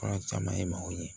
Fura caman ye maaw ye